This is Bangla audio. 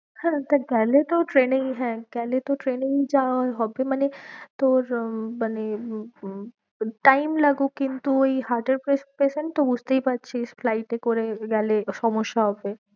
হ্যাঁ তা গেলে তো ট্রেনেই হ্যাঁ গেলে তো ট্রেনেই যাওয়া হবে মানে তোর আহ মানে উম time লাগুক কিন্তু ওই heart এর patient তো বুঝতেই পারছিস flight এ করে গেলে সমস্যা হবে।